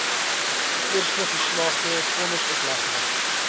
eerste geslaagde vonnisoplegging